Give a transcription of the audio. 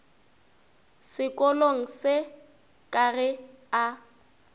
sekolong se ka ge a